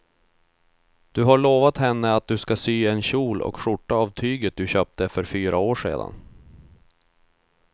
Du har lovat henne att du ska sy en kjol och skjorta av tyget du köpte för fyra år sedan.